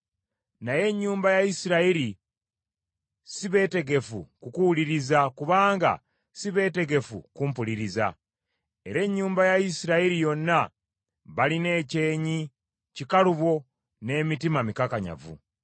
Naye ennyumba ya Isirayiri si beetegefu kukuwuliriza kubanga si beetegefu kumpuliriza; era ennyumba ya Isirayiri yonna balina ekyenyi kikalubo n’emitima mikakanyavu.